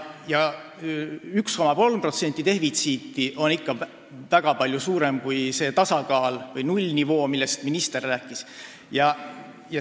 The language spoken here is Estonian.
1,3%-line defitsiit on ikka väga palju suurem kui see tasakaal või nullnivoo, millest minister rääkis.